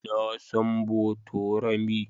Na san Botorami.